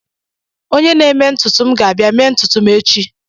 Onye na-eme ntutu m ga-abịa mee ntutu m echi.